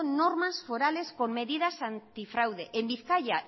normas forales con medidas antifraude en bizkaia